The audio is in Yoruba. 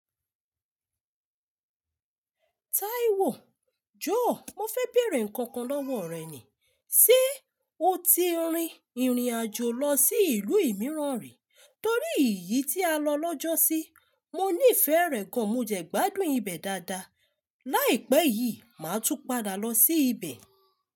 Taiwo, jọ̀ọ́ mo fẹ́ bèèrè nǹkan kan lọ́wọ́ rẹ ni. Ṣé o ti rin ìrìnàjò lọ sí ìlú ìmìíràn rí? Torí èyí tí a lọ lọ́jọ́ sí, mo nífẹ̀ẹ́ rẹ̀ gan. Mo jẹ gbádùn ibẹ̀ dáadáa. Láìpẹ́ yìí, màá tún padà lọ sí ibẹ̀